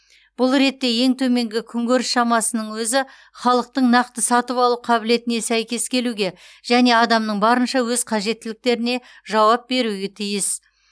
бұл ретте ең төменгі күнкөріс шамасының өзі халықтың нақты сатып алу қабілетіне сәйкес келуге және адамның барынша өз қажеттіліктеріне жауап беруге тиіс